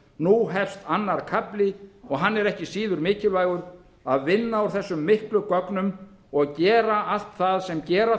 nú hefst annar kafli og hann er ekki síður mikilvægur að vinna úr þessum miklu gögnum og gera allt það sem gera